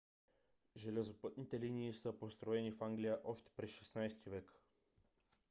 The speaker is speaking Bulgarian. железопътните линии са построени в англия още през 16 - ти век